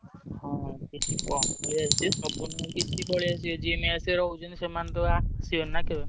ହଁ କିଛି ଆସିବେ ସବୁ ନୁହଁ କିଛି ପଳେଇଆସିବେ ଯିଏ mess ରେ ରହୁଛନ୍ତି ସେମାନେ ତ ଆସିବେନି ନା କେବେ।